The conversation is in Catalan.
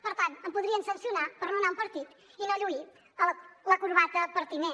per tant em podrien sancionar per anar a un partit i no lluir la corbata pertinent